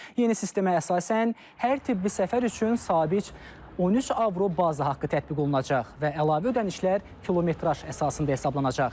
Yeni sistemə əsasən, hər tibbi səfər üçün sabit 13 avro baza haqqı tətbiq olunacaq və əlavə ödənişlər kilometraj əsasında hesablanacaq.